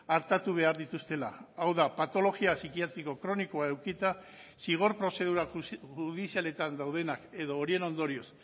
artatu behar dituztela hau da patologia psikiatriko kronikoa edukita zigor prozedura judizialetan daudenak edo horien ondorioz